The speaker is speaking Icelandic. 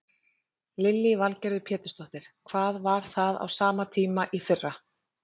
Lillý Valgerður Pétursdóttir: Hvað var það á sama tíma í fyrra?